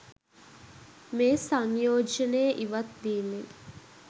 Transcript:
මේ සංයෝජනය ඉවත් වීමෙන්